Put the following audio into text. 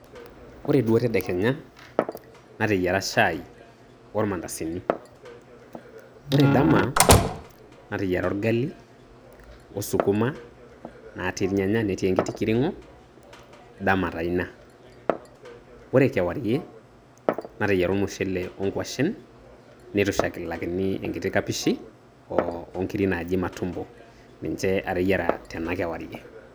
Ore duo tedekenya, nateyiara shai ormandasini. Ore dama, nateyiara orgali o sukuma natii nyanya netii enkiti kiring'o, dama taa ina. Ore kewarie, nateyiara ormushele o nkwashen, neitushulakini enkiti kapishi ,o onkiri naaji matumbo. Ninche ateyiara tenakewarie.